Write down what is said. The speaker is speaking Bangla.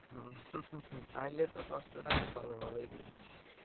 হম তাহলে তো কষ্টটা ভালো ভাবেই বুজছি।